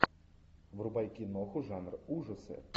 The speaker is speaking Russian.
врубай киноху жанр ужасы